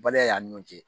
Baliya y'an ni ɲɔn cɛ